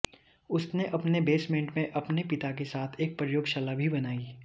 उसने अपने बेसमेंट में अपने पिता के साथ एक प्रयोगशाला भी बनाई